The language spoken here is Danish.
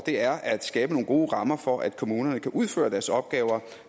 er at skabe nogle gode rammer for at kommunerne kan udføre deres opgaver og